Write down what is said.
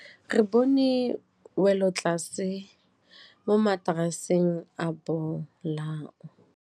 Re bone wêlôtlasê mo mataraseng a bolaô.